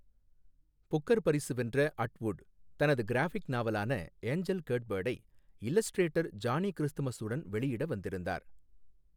Booker பரிசு வென்ற Atwood, தனது கிராஃபிக் நாவலான ஏஞ்சல் கேட்பேர்ட் ஐ இல்லஸ்ட்ரேட்டர் ஜானி கிறிஸ்துமஸ் உடன் வெளியிட வந்திருந்தார்.